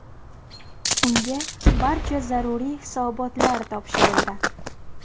Unga barcha zaruriy hisobotlar topshirildi.